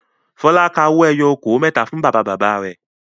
Fọlá ka owó ẹyọ okòó mẹ́ta fún bàbá-bàbá rẹ̀.